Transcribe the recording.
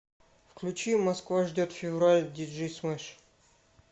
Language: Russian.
включи москва ждет февраль диджей смэш